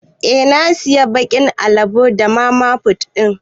Eh na siya bakin alabo da mamafut din.